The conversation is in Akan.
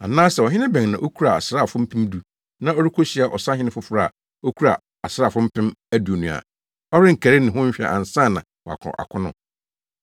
“Anaasɛ ɔhene bɛn na okura asraafo mpem du na ɔrekohyia ɔsahene foforo a okura asraafo mpem aduonu a, ɔrenkari ne ho nhwɛ ansa na wakɔ akono?